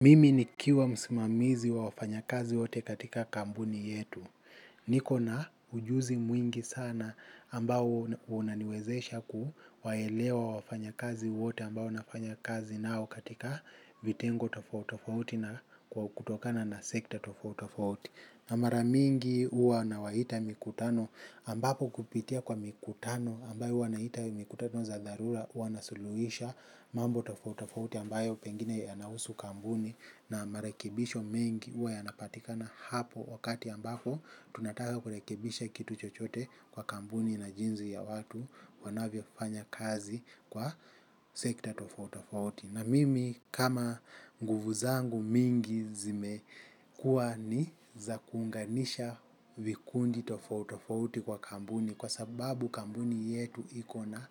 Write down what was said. Mimi nikiwa msimamizi wa wafanyakazi wote katika kampuni yetu. Niko na ujuzi mwingi sana ambao unaniwezesha kuwaelewa wafanyakazi wote ambao nafanya kazi nao katika vitengo tofauti tofauti na kwa kutokana na sekta tofauti tofauti. Na mara mingi huwa nawaita mikutano ambapo kupitia kwa mikutano ambayo huwa naita mikutano za dharura. Wanasuluhisha mambo tofauti tofauti ambayo pengine yanahusu kampuni na marekebisho mengi huwa yanapatikana hapo wakati ambapo tunataka kurekebisha kitu chochote kwa kampuni na jinsi ya watu wanavyofanya kazi kwa sekta tofauti tofauti na mimi kama nguvu zangu mingi zimekuwa ni za kuunganisha vikundi tofauti tofauti kwa kampuni. Kwa sababu kampuni yetu iko na